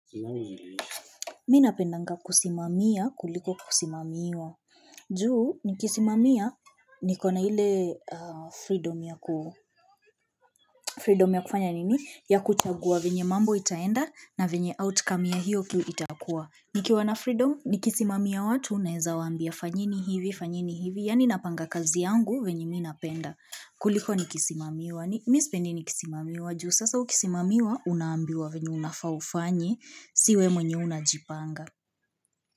M inapendanga kusimamia kuliko kusimamiwa juu nikisimamia nikona ile freedom ya kufanya nini ya kuchagua venye mambo itaenda na venye outcome ya hiyo kiu itakua nikiwa na freedom nikisimamia watu naeza waambia fanyeni hivi fanyeni hivi Yani napanga kazi yangu venye minapenda kuliko nikisimamiwa ni misipendi nikisimamiwa juu sasa ukisimamiwa unambiwa venye unafaa ufanye sio wewe mwenyewe unajipanga.